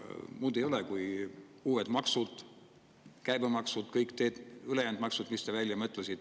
Muud ei ole kui uued maksud, käibemaksu, kõik ülejäänud maksud, mis te välja mõtlesite.